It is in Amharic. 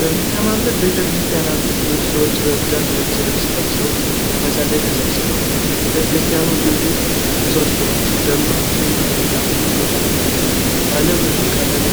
በሚያማምር ቤተ ክርስትያን ውስጥ ብዙ ሰዎች በብዛት ነጭ ልብስ ለብሰው ለመጸለይ ተሰብስበዋል። ቤተ ክርስትያኑ ግዙፍ ምሰሶዎች፣ ደማቅ ቀይ ምንጣፎች እና ባለ ብዙ ቀለም